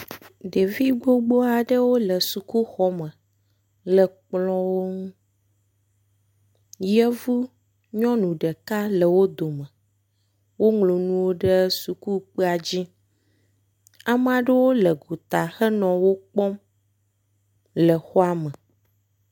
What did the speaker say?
Ɖevi gbo aɖewo le sukuxɔme le kplɔwo ŋu. yevu nyɔnu ɖeka le wo dome. Woŋlɔ nuwo ɖe sukukpea dzi. Ame aɖewo le gota henɔ wo kpɔm le xɔa me.